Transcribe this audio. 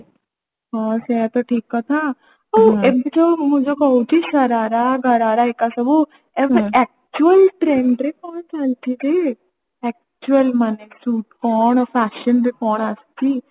ହଁ ସେୟା ତ ଠିକ କଥା ଆଉ ଏବେ ଯୋଉ ମୁଁ ଯୋଉ କହୁଛି ଶରାରା ଘରାରା ଏକା ସବୁ ଏବେ actual trend ରେ କଣ ଚାଲିଛି ଯେ actual ମାନେ ସୁଟ କଣ fashion ରେ କଣ ଆସିଛି